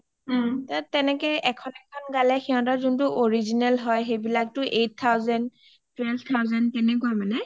তেনেকে সিহতৰ এখন এখন গালে সিহতৰ যোখন original হয় সেইবিলাকটো eight thousand, twelve thousand তেনেকুৱা মানে